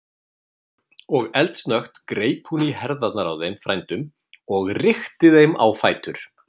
Og eldsnöggt greip hún í herðarnar á þeim frændum og rykkti þeim á fætur.